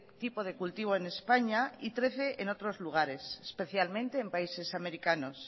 tipo de cultivo en españa y trece en otros lugares especialmente en países americanos